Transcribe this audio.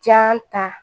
Jan ta